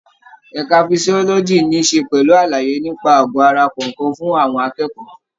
Ẹka physiology níí ṣe pẹ̀lú àlàyé nípa àgọ ara kọ̀ọ̀kan fún àwọn akẹ́kọ̀ọ́.